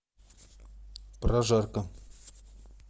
прожарка